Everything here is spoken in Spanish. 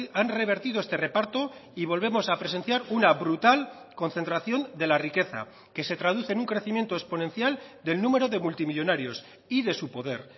han revertido este reparto y volvemos a presenciar una brutal concentración de la riqueza que se traduce en un crecimiento exponencial del número de multimillónarios y de su poder